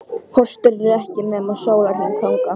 Pósturinn er ekki nema sólarhring þangað.